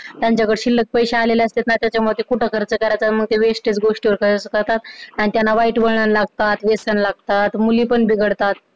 त्यांच्याकडं शिल्लक पैशे आलेले असतात ना त्याच्यामुडे ते कुठं खर्च कराच अन मग wastage गोष्टीवर खर्च करतात आणि त्यांना वाईट वळण लागतात व्यसन लागतात, मुली पण बिघडतात